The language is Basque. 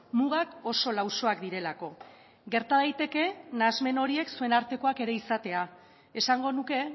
mugak oso lausoak direlako gerta daiteke nahasmen horiek zuen artekoak ere izatea esango nuke